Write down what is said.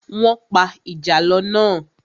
Wọ́n pa ìjàlọ́ náà.